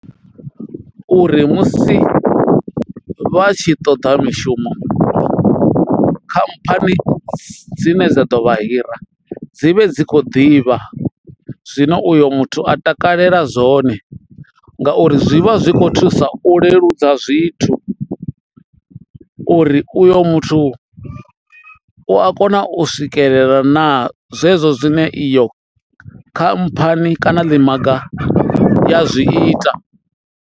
Uri musi vha tshi toḓa mishumo khamphani dzine dza ḓo vha hira dzi vhe dzi kho ḓivha zwino uyo muthu a takalela zwone ngauri zwi vha zwi kho thusa u leludza zwithu uri uyo muthu u a kona u swikelela na zwezwo zwine iyo khamphani kana ḽi maga ya zwi ita.